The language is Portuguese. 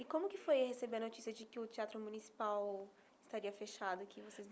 E como que foi receber a notícia de que o Teatro Municipal estaria fechado aqui?